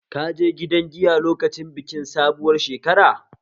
Ka je gidan giya lokacin bikin sabuwar shekara?